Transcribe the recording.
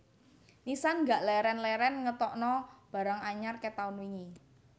Nissan gak leren leren ngetokno barang anyar ket taun wingi